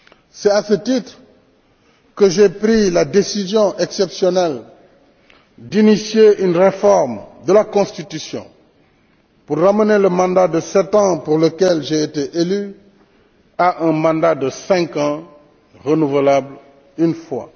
C'est à ce titre que j'ai pris la décision exceptionnelle d'initier une réforme de la constitution pour ramener le mandat de sept ans pour lequel j'ai été élu à un mandat de cinq ans renouvelable une fois.